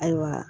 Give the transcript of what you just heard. Ayiwa